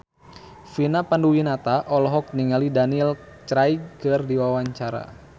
Vina Panduwinata olohok ningali Daniel Craig keur diwawancara